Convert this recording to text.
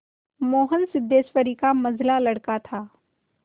मोहन सिद्धेश्वरी का मंझला लड़का था